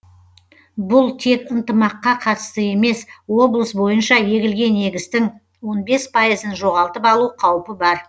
бұл тек ынтымаққа қатысты емес облыс бойынша егілген егістің он бес пайызын жоғалтып алу қаупі бар